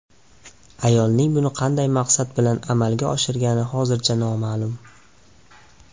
Ayolning buni qanday maqsad bilan amalga oshirgani hozircha noma’lum.